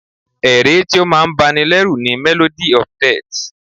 Ẹ̀ré tí o máà ń bá ní lẹ́rù ni "Melody of death"